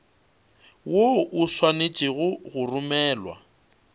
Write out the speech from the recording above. woo o swanetše go romelwa